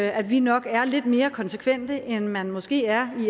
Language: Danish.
at vi nok er lidt mere konsekvente end man måske er